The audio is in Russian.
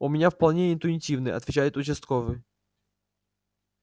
у меня вполне интуитивный отвечает участковый